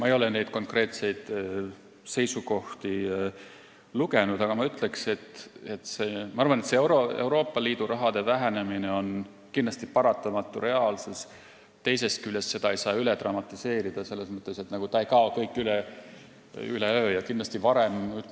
Ma ei ole neid konkreetseid seisukohti lugenud, aga ma ütleks, et Euroopa Liidu raha vähenemine on ühest küljest kindlasti paratamatu reaalsus, teisest küljest aga ei saa seda üle dramatiseerida, selles mõttes, et kõik ei kao üleöö.